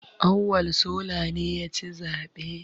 Auwal sola ne ya ci zaɓe